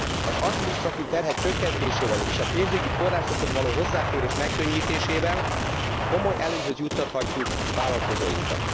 Az adminisztratív terhek csökkentésével és a pénzügyi forrásokhoz való hozzáférés megkönnyítésével komoly előnyhöz juttathatjuk vállalkozóinkat.